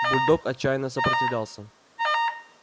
бульдог отчаянно сопротивлялся